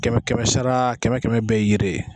Kɛmɛ kɛmɛ sara kɛmɛ kɛmɛ be ye yiri ye